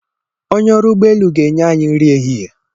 Onye ọrụ ụgbọ elu ga-enye anyị nri ehihie.